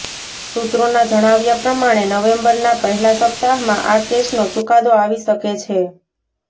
સૂત્રોના જણાવ્યા પ્રમાણે નવેમ્બરના પહેલાં સપ્તાહમાં આ કેસનો ચુકાદો આવી શકે છે